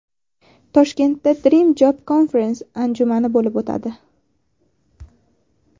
Toshkentda DreamJob Conference anjumani bo‘lib o‘tadi.